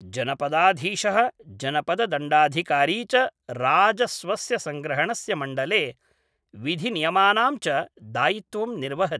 जनपदाधीशः जनपददण्डाधिकारी च राजस्वस्य संग्रहणस्य मण्डले विधिनियमानां च दायित्त्वं निर्वहति।